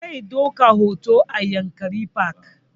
Zai ɗauka hoto a yankari park